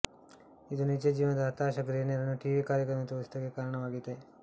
ಇದು ನಿಜ ಜೀವನದ ಹತಾಶ ಗೃಹಿಣಿಯರನ್ನು ಟಿವಿ ಕಾರ್ಯಕ್ರಮದಲ್ಲಿ ತೋರಿಸುವುದಕ್ಕೆ ಕಾರಣವಾಯಿತು